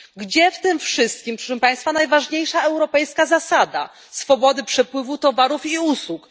Gdzie w tym wszystkim, proszę Państwa, najważniejsza europejska zasada swobody przepływu towarów i usług?